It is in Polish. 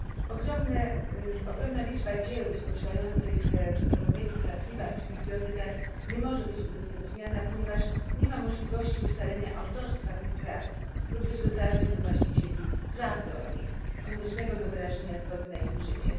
Ogromna liczba dzieł spoczywających w europejskich archiwach czy w bibliotekach nie może być udostępniana, ponieważ nie ma możliwości ustalenia autorstwa tych prac lub też dotarcia do właścicieli praw do nich, koniecznych do wyrażenia zgody na ich użycie.